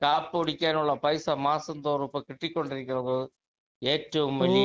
speaker 2 കാപ്പികുടിക്കാനുള്ള പൈസ മാസം തോറും ഇപ്പൊ കിട്ടികൊണ്ടിരിക്കുന്നത് ഏറ്റവും വലിയ